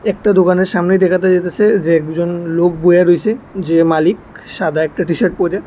দোকানের সামনে দেখা যাইতেছে যে একজন লোক বইয়া রয়েছে যে মালিক সাদা একটা টি-শার্ট পইরা।